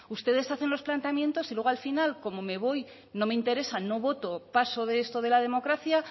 ustedes hacen los planteamientos y luego al final como me voy no me interesa no voto paso de esto de la democracia